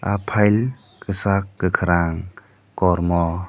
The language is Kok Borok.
ah pile kisak kakorang kormo.